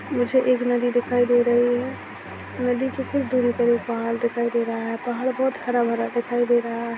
मुझे एक नदी दिखाई दे रही है नदी के दूर एक पहाड़ दिखाई दे रहा है पहाड़ बहुत हरा भरा दिखाई दे--